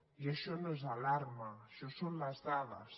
i això no és alarma això són les dades